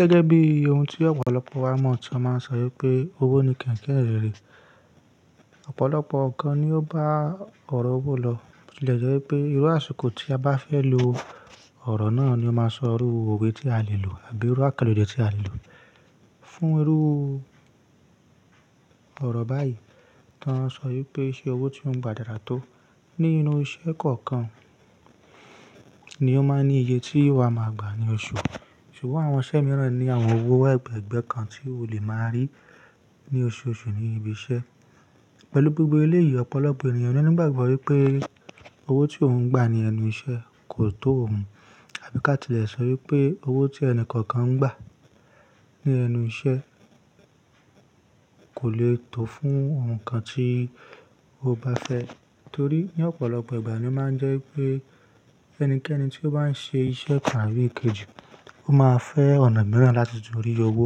Gẹ́gẹ́ bí ohun tí ọ̀pọ̀lọpọ̀ wá mọ̀ tì wọn máa ń sọ wípé owó ni kẹ̀kẹ́ ìhìnrere, ọ̀pọ̀lọpọ̀ nnkan ni ó bá ọ̀rọ̀ owó lọ. Bi o ti le jẹ e wípé irú àṣìkò tí a bá fẹ́ lo ọ̀rọ̀ náà ni ó máa sọ irú owe tí a lè lò àbí irú àkànlo ede tí a lè lò. Fún irú ọ̀rọ̀ báyìí, wà sọ wípé ṣe owó tí ó ń gba dára tó? Nínú iṣẹ́ kọ̀ọ̀kan ni ó máa ń ní iye tí wa máa gbà ní oṣù. Ṣùgbọ́n àwọn iṣẹ́ mìíràn ní àwọn owó ẹ̀gbẹ̀ẹ̀gbẹ́ kan tí o lè máa rí ní oṣooṣù ní ibi iṣẹ́. Pẹ̀lú gbogbo eléyìí, ọ̀pọ̀lọpọ̀ ènìyàn ló ní ìgbàgbọ́ wípé owó tí òun ń gba ní ẹnu iṣẹ́ kò tó òun. Àbí ká ti lè sọ wípé owó tí ẹni kọ̀ọ̀kan ń gba ní ẹnu iṣẹ́ kò lè tó fún ohun kan tí ó bá fẹ́. Torí ní ọ̀pọ̀lọpọ̀ ìgbà ni ó máa ń jẹ́ wípé ẹnikẹ́ni tí ó bá ń ṣe iṣẹ́ ìpàrí ikejì, ó máa fẹ́ ọ̀nà mìíràn láti tún rí owó.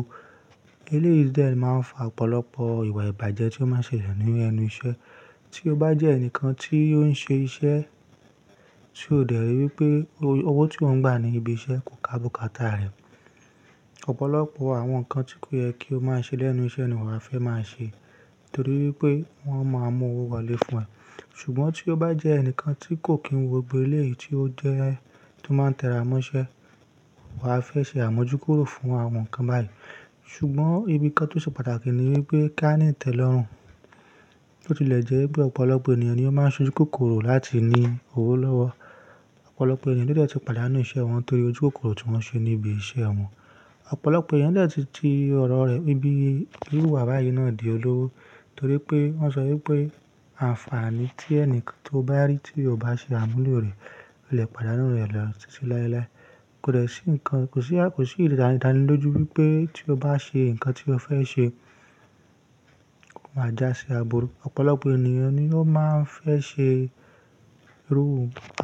Ilé yìí dẹ̀ máa ń fa ọ̀pọ̀lọpọ̀ ìwà ìbàjẹ́ tí ó máa ń ṣẹlẹ̀ ní ẹnu iṣẹ́. Tí o bá jẹ́ ẹnìkan tí ó ń ṣe iṣẹ́ tí o dẹ̀ rí wípé owó tí ò ń gba ní ibi iṣẹ́ kò ká bùkátà rẹ, ọ̀pọ̀lọpọ̀ àwọn nǹkan tí kò yẹ kí o má ṣe lẹ́nu iṣẹ́ ni wà á fẹ́ máa ṣe. Torí wípé wọ́n mà mú owó wọlé fún ẹ. Ṣùgbọ́n tí o bá jẹ́ ẹnìkan tí kò kí n wo gbogbo eléyìí tí ó jẹ́ tó máa tẹra mọ́ṣẹ́, wà á fẹ́ ṣe àmójúkúrò fún àwọn nǹkan báyìí. Ṣùgbọ́n ibi kan tó ṣe pàtàkì ni wípé kí a ni itẹlọrun. Bi ọ tilẹ̀ jẹ́ wípé ọ̀pọ̀lọpọ̀ ènìyàn ni ó máa ń ṣojú kòkòrò láti ní owó lọ́wọ́. Ọ̀pọ̀lọpọ̀ ènìyàn ló dẹ̀ tu pàdánù iṣẹ́ wọn torí ojú kòkòrò tí wọ́n ṣe ní ibi iṣẹ́ wọn. Ọ̀pọ̀lọpọ̀ ènìyàn dẹ̀ tun ti ọ̀rọ̀ rẹ̀ ni ibi irú ìwà báyìí náà di olówó. Torí pé wọ́n sọ wípé àǹfààní tí ẹnìkan tó bá rí tí ò bá ṣe àmúlò rẹ̀, ó lè pàdánù rẹ̀ lọ titi lailai. Kò dẹ̀ sí nǹkan, kò sí, kò sí ìdánilójú wípé tí o bá ṣe nǹkan tí o fẹ́ ṣe, ó máa já sí aburú. Ọ̀pọ̀lọpọ̀ ènìyàn ni ó máa ń fẹ́ ṣe irú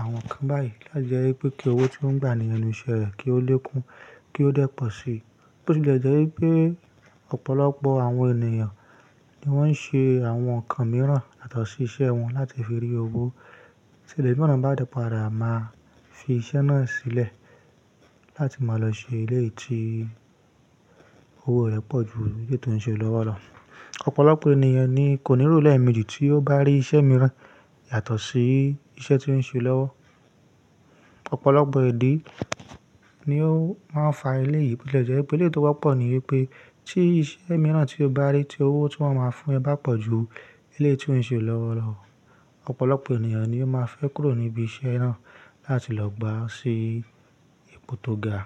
àwọn nǹkan báyìí láti jẹ́ wípé kí owó tí wọ́n ń gba ní ẹnu iṣẹ́ rẹ̀ kí ó lé kún, kí ó dẹ́ pọ̀ sí bi o ti lè jẹ́ wípé ọ̀pọ̀lọpọ̀ àwọn ènìyàn ni wọ́n ń ṣe àwọn nǹkan mìíràn yàtọ̀ sí iṣẹ́ wọn láti fi rí owó. Tí iwo naa bá dẹ́ pààdà, máa fi iṣẹ́ náà sílẹ̀ láti máa lọ ṣe eleyii tí owó rẹ̀ pọ̀ ju eléyìí tó ń ṣe lówó lọ. Ọ̀pọ̀lọpọ̀ ènìyàn ni kò ní rò ó lẹ́ẹ̀meji tí ó bá rí iṣẹ́ mìíràn yàtọ̀ sí iṣẹ́ tí ó ń ṣe òlówó. Ọ̀pọ̀lọpọ̀ ìdí ni ó máa ń fa éleyìí. Bi o tilẹ̀ jẹ́ wípé ilé tó wọ́pọ̀ ni wípé tí iṣẹ́ mìíràn tí o bá rí tí owó tí wọ́n máa fún ẹ bá pọ̀ ju eleyii tí ó ń ṣe lówó lọ, ọ̀pọ̀lọpọ̀ ènìyàn ni ó máa fẹ́ kúrò níbi iṣẹ́ náà láti lọ gbà si ipò tó ga.